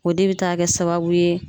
O de be taa kɛ sababu ye